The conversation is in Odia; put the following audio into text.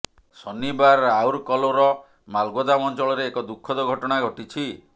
ଶନିବାର ରାଉରକଲୋର ମାଲଗୋଦାମ ଅଞ୍ଚଳରେ ଏକ ଦୁଃଖଦ ଘଟଣା ଘଟିଛି